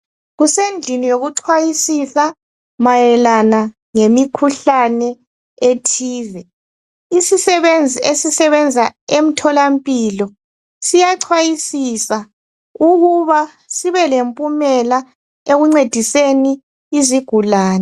Kusendlini yokucwayisisa mayelana lemikhuhlane ethize, isisebenzi esisebenza emtholampilo siyacwayisisa ukuba sibe lempumela ekuncediseni izigulane.